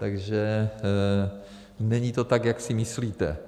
Takže není to tak, jak si myslíte.